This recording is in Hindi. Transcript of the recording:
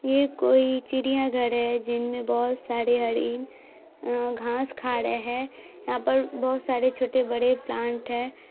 ये कोई चिड़िया घर है जिन में बहुत सारे हरी अ घांस खा रहे हैं यहाँ पर बहुत सारे छोटे बड़े प्लान्ट है।